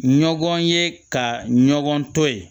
Ɲɔgɔn ye ka ɲɔgɔn to ye